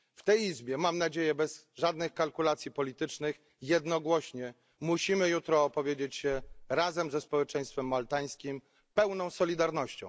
W tej Izbie, mam nadzieję, bez żadnych kalkulacji politycznych, jednogłośnie musimy jutro opowiedzieć się razem ze społeczeństwem maltańskim w pełnej solidarności.